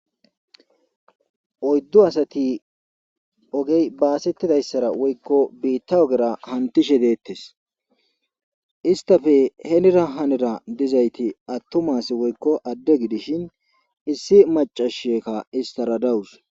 oyddu asati ogey baasettidayssara woykko biitta ogera hantishe deettes istafe heenira hanira dizayti attomasi woykko adde gidishin issi macasheka istaradawus